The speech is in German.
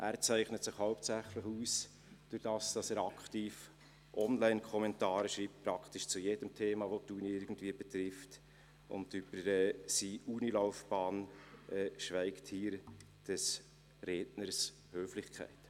Er zeichnet sich hauptsächlich dadurch aus, dass er aktiv Online-Kommentare schreibt – praktisch zu jedem Thema, das die Universität irgendwie betrifft, und über seine Universitätslaufbahn schweigt hier des Redners Höflichkeit.